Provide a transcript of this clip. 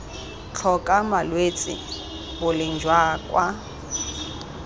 tlhoka malwetse boleng jwa kwa